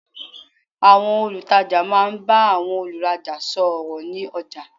Àwọn olùtajà máa n bá àwọn olùrajà sò ọ̀rọ̀ ní ọjà